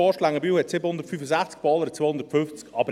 Forst-Längenbühl hat 765 Einwohner und Pohlern 250.